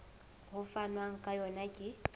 ho fanwang ka yona ke